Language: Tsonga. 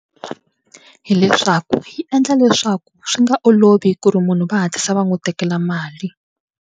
Hi leswaku yi endla leswaku swi nga olovi ku ri munhu va hatlisa va n'wi tekela mali.